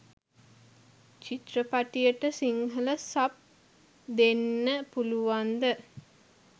චිත්‍රපටියට Sinhala sub දෙන්න පුළුවන්ද?